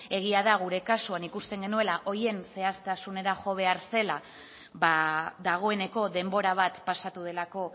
egia da gure kasuan ikusten genuela horien zehaztasunera jo behar zela dagoeneko denbora bat pasatu delako